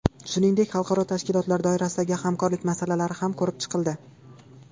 Shuningdek, xalqaro tashkilotlar doirasidagi hamkorlik masalalari ham ko‘rib chiqildi.